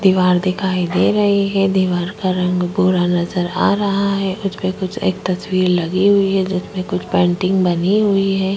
दीवार दिखाई दे रही हैं दिवार का रंग भूरा नज़र आ रहा हैं उसमे कुछ एक तस्वीर लगी हुई हैं जिसमे कुछ पेंटिंग बनी हुई हैं।